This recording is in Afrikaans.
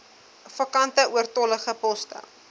vakante oortollige poste